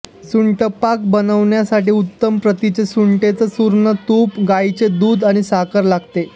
सुंठपाक बनवण्यासाठी उत्तम प्रतीच्या सुंठेचे चूर्ण तूप गाईचे दूध आणि साखर लागते